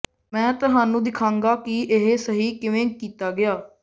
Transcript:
ਮੈਂ ਤੁਹਾਨੂੰ ਦਿਖਾਂਗਾ ਕਿ ਇਹ ਸਹੀ ਕਿਵੇਂ ਕੀਤਾ ਗਿਆ